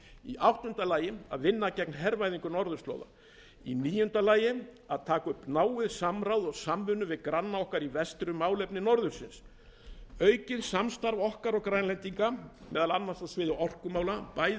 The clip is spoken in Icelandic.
í áttunda lagi að vinna gegn hervæðingu norðurslóða í níunda lagi að taka upp náið samráð og samvinnu við granna okkar í vestri um málefni norðursins aukið samstarf okkar og grænlendinga meðal annars á sviði orkumála bæði